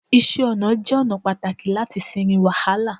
iṣẹ ọnà jé ona pàtàkì lati sinmi wàhálà